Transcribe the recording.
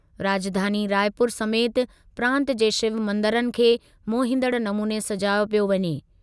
राजधानी रायपुर समेति प्रांत जे शिव मंदरनि खे मोहींदड़ु नमूने सॼायो पियो वञे।